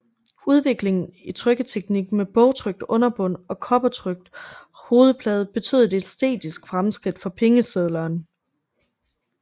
Udviklingen i trykketeknik med bogtrykt underbund og kobbertrykt hovedplade betød et æstetisk fremskridt for pengesedlerne